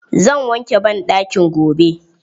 Zan wanke banɗakin gobe.